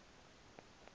naliphi na ityala